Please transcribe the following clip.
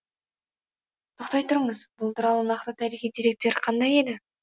тоқтай тұрыңыз бұл туралы нақты тарихи деректер қандай еді